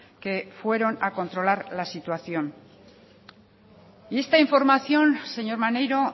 que fueron a controlar la situación y esta información señor maneiro